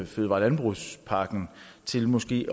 fødevare og landbrugspakken til måske